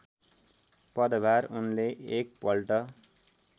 पदभार उनले एक पल्ट